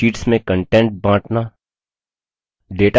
sheets में content बाँटना